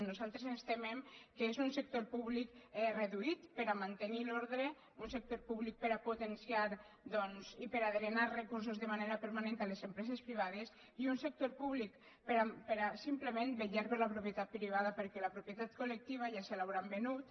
nosaltres ens temem que és un sector públic reduït per a mantenir l’ordre un sector públic per a potenciar doncs i per a drenar recursos de manera permanent a les empreses privades i un sector públic per a simplement vetllar per la propietat privada perquè la propietat col·lectiva ja se l’hauran venuda